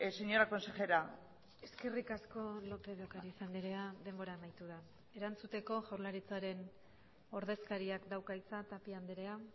señora consejera eskerrik asko lópez de ocariz andrea denbora amaitu da erantzuteko jaurlaritzaren ordezkariak dauka hitza tapia andrea